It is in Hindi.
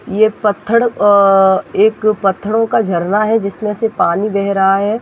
ये पत्थड अ एक पत्थडो का झरना है जिसमें से पानी बेह रहा है।